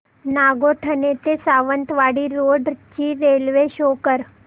नागोठणे ते सावंतवाडी रोड ची railway show कर